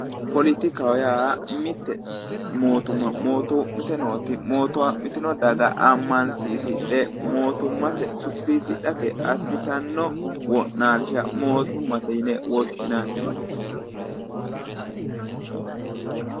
Politikaho yaa mitte mootumma mootoommite nooti mootoommitino daga ammansiisidhe mootummase sufisiisirate assidhanno wo'naalsha mootummate yine woshinanni.